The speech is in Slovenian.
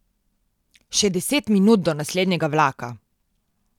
Še deset minut do naslednjega vlaka.